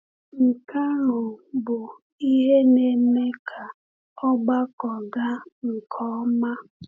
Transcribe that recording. Nke ahụ bụ ihe na-eme ka ọgbakọ gaa nke ọma.